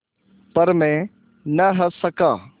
पर मैं न हँस सका